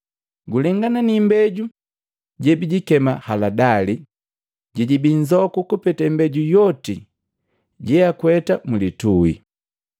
Gulengana ni imbeju jebijikema haladali, jejibii nzoku kupeta imbeju yoti jeakweta mlitui.